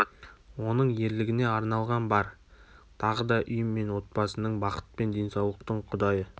оның ерлігіне арналған бар тағы да үй мен отбасының бақыт пен денсаулықтың құдайы